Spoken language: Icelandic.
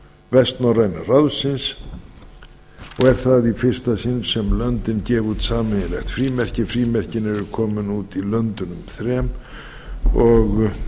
vestnorræna ráðsins og er það í fyrsta sinn sem löndin gefa út sameiginlegt frímerki frímerkin eru komin út í löndunum þrem og